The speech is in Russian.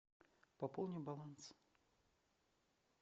пополни баланс